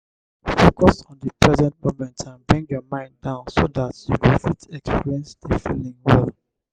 sometimes um e dey take time to find wetin to fit work for you dey patient dey patient with yourself